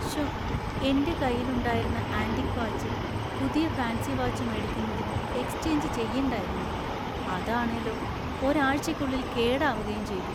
ശോ, എന്‍റെ കയ്യിലുണ്ടാരുന്ന ആന്‍റിക് വാച്ച് പുതിയ ഫാൻസി വാച്ച് മേടിക്കുന്നതിന് എക്സ്ചെയ്ഞ്ച് ചെയ്യണ്ടാരുന്നു, അത് ആണേലോ ഒരാഴ്ചയ്ക്കുള്ളിൽ കേടാവുകയും ചെയ്തു.